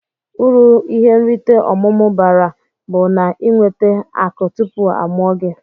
Uru ihe nrite omumu bara bu naa inwete aku tupu amụọ gi.